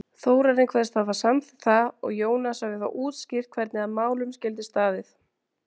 Þórarinn kveðst hafa samþykkt það, og Jónas hafi þá útskýrt, hvernig að málum skyldi staðið.